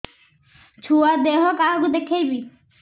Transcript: ଛୁଆ ଦେହ କାହାକୁ ଦେଖେଇବି